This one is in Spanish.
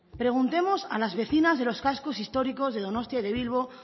preguntemos a las vecinas de los cascos históricos de donostia o de bilbo